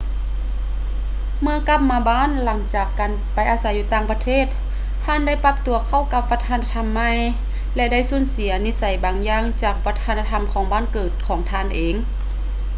ເມື່ອກັບມາບ້ານຫຼັງຈາກໄປອາໄສຢູ່ຕ່າງປະເທດ ທ່ານໄດ້ປັບຕົວເຂົ້າກັບວັດທະນະທຳໃໝ່ ແລະ ໄດ້ສູນເສຍນິໄສບາງຢ່າງຈາກວັດທະນະທຳຂອງບ້ານເກີດຂອງທ່ານເອງ